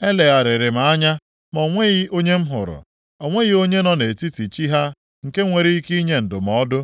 Elegharịrị m anya ma o nweghị onye m hụrụ. O nweghị onye nọ nʼetiti chi ha nke nwere ike inye ndụmọdụ;